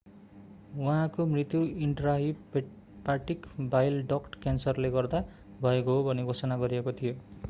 उहाँको मृत्यु intrahepatic bile duct क्यान्सरले गर्दा भएको हो भनी घोषणा गरिएको थियो